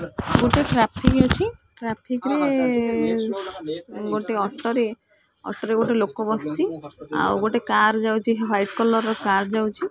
ଗୋଟିଏ ଟ୍ରାଫିକ ଅଛି ଟ୍ରାଫିକ ରେ ଗୋଟେ ଅଟୋ ରେ ଅଟୋ ରେ ଗୋଟେ ଲୋକ ବସଚି ଆଉଗୋଟେ କାର ଯାଉଚି ୱାଇଟ୍ କଲର୍ ର କାର୍ ଯାଉଚି।